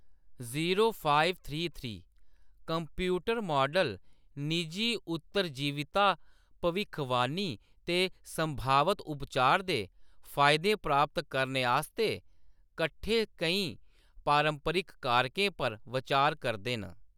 Computer model निजी उत्तरजीविता भविक्खबानी ते संभावत उपचार दे फाईदे प्राप्त करने आस्तै कट्ठे केईं पारंपरिक कारकें पर बचार करदे न।